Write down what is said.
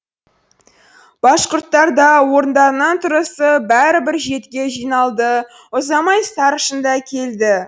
башқұрттар да орындарынан тұрысып бәрі бір жерге жиналды ұзамай старшын да келді